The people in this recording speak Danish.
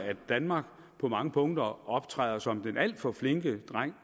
danmark på mange punkter optræder som den alt for flinke dreng